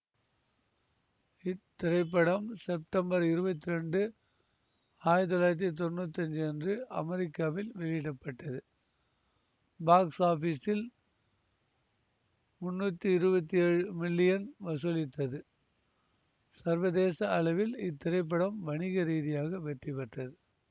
இத்திரைப்படம் செப்டம்பர் இருவத்தி இரண்டு ஆயிரத்தி தொள்ளாயிரத்தி தொன்னூத்தி அஞ்சு அன்று அமெரிக்காவில் வெளியிட பட்டது பாக்ஸ் ஆபிஸில் முன்னூத்தி இருவத்தி ஏழு மில்லியன் வசூலித்தது சர்வதேச அளவில் இத்திரைப்படம் வணிக ரீதியாக வெற்றி பெற்றது